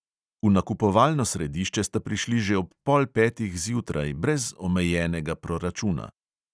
V nakupovalno središče sta prišli že ob pol petih zjutraj brez omejenega proračuna.